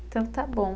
Então, está bom.